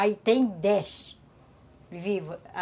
Aí tem dez vivos.